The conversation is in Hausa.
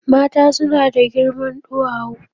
Mata suna da girma duwawu.